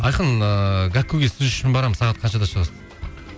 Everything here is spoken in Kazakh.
айқын ыыы гәккуге сіз үшін барамын сағат қаншада шығасың